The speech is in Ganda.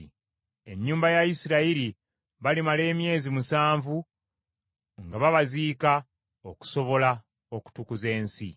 “ ‘Ennyumba ya Isirayiri balimala emyezi musanvu nga babaziika, okusobola okutukuza ensi.